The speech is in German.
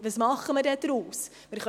Was machen wir dann daraus?